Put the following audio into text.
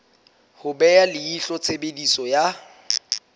ho beha leihlo tshebediso ya